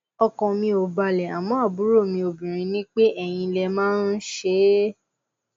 ọkàn mi ò balẹ àmọ àbúrò mi obinrin ní pé eyín lè máa um ṣe é